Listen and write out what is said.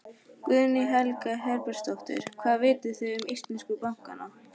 Guðný Helga Herbertsdóttir: Hvað vitið þið um íslensku bankana?